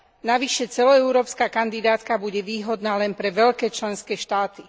Navyše celoeurópska kandidátka bude výhodná len pre veľké členské štáty.